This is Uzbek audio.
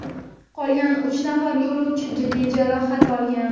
qolgan uch nafar yo‘lovchi jiddiy jarohat olgan.